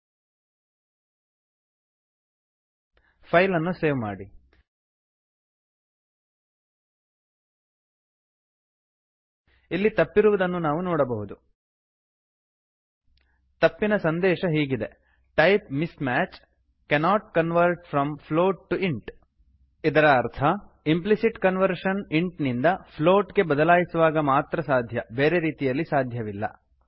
ಇಲ್ಲಿ ತಪ್ಪಿರುವುದನ್ನು ನಾವು ನೋಡಬಹುದು ತಪ್ಪಿನ ಸಂದೇಶ ಹೀಗಿದೆ type mismatch cannot convert from float to int type miss match cannot convert from float to int type ಹೊಂದುತ್ತಿಲ್ಲ ಹಾಗಾಗಿ ಪ್ಲೋಟನ್ನು ಇಂಟ್ ಗೆ ಬದಲಾಯಿಸಲು ಸಾಧ್ಯವಿಲ್ಲ ಇದರ ಅರ್ಥ ಇಂಪ್ಲಿಸಿಟ್ ಕನ್ವರ್ಷನ್ intಇಂಟ್ ನಿಂದ floatಪ್ಲೋಟ್ ಗೆ ಬದಲಾಯಿಸುವಾಗ ಮಾತ್ರ ಸಾಧ್ಯ ಬೇರೆ ರೀತಿಯಲ್ಲಿ ಸಾಧ್ಯವಿಲ್ಲ